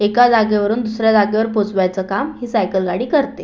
एका जागेवरून दुसऱ्या जागेवर पोचवायचे काम ही सायकल गाडी करते.